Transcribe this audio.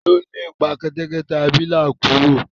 ta ló lépa kẹtẹkẹtẹ abilà kúrò?